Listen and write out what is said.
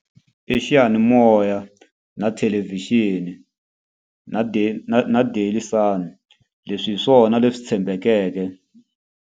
I xiyanimoya, na thelevixini, na na na Daily Sun. Leswi hi swona leswi tshembekeke.